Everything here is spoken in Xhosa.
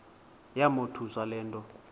yamothusa le nto